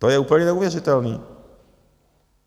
To je úplně neuvěřitelný!